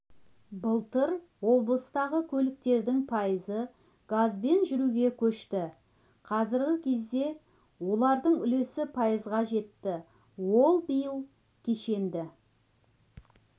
былтыр облыстағы көліктердің пайызы газбен жүруге көшті қазіргі кезде олардың үлесі пайызға жетті ал биыл кешенді